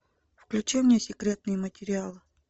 включи мне секретные материалы